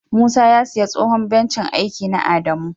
Musa ya siya tsohon bencin aiki na adamu.